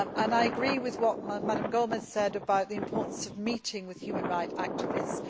I agree with what Mrs Gomes said about the importance of meeting with human rights activists.